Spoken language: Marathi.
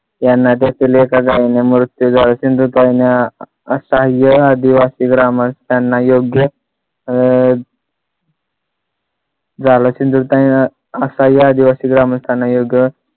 यांना देखील एका गावाने मृत्यू झाला सिंधुताईने असाह्य आदिवासी ग्रामस्थांना योग्य अह झालं सिंधुताईने असाह्य आदिवासी ग्रामस्थांना योग्य